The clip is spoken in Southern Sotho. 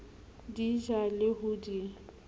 di ja le ho di